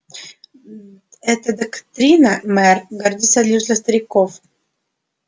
эта доктрина мэр годится лишь для стариков